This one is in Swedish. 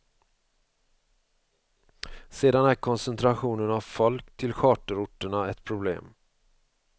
Sedan är koncentrationen av folk till charterorterna ett problem.